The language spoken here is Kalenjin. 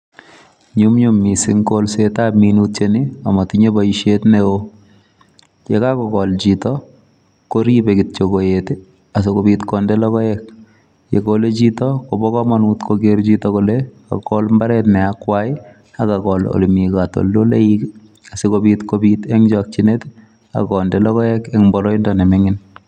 Nyumnyum missing kolsetab minutiet ni, amatinye bosiet neoo. Yekakogol chito, koribe koet, asikobit konde logoek. Yegole chito, kobo komonut koker chito kole kakol mbaret ne akwai, akagol ole mii katoldoloik, asikobit kobit eng' chakchinet, akonde logoek eng' boroindo ne ming'in